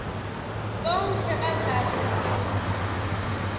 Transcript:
bonkhe badlali ndzima